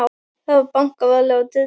Það var bankað varlega á dyrnar.